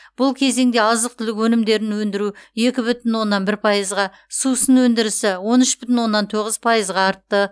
бұл кезеңде азық түлік өнімдерін өндіру екі бүтін оннан бір пайызға сусын өндірісі он үш бүтін оннан тоғыз пайызға артты